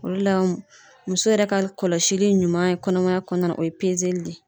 Olu la muso yɛrɛ ka kɔlɔsili ɲuman ye kɔnɔmaya kɔnɔna na o ye pezeli de ye.